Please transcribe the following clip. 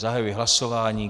Zahajuji hlasování.